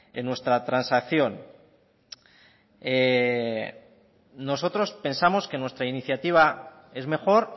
en nuestra transacción nosotros pensamos que nuestra iniciativa es mejor